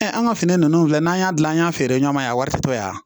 an ka fini ninnu filɛ n'an y'a dilan an y'a feere ɲɔgɔn ma yan a wari tɛ to yan